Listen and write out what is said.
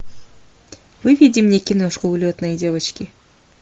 выведи мне киношку улетные девочки